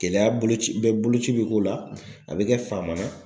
Gɛlɛya bolo ci bɛɛ boloci be k'o la a be kɛ Famana.